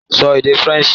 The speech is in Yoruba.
Sọ èdè Faransé!